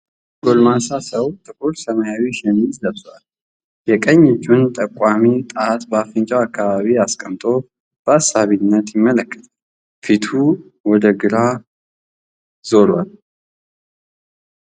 አንድ ጎልማሳ ሰው ጥቁር ሰማያዊ ሸሚዝ ለብሷል። የቀኝ እጁን ጠቋሚ ጣት በአፍንጫው አካባቢ አስቀምጦ በአሳቢነት ይመለከታል። ፊቱ ወደ ግራ ዞሯል።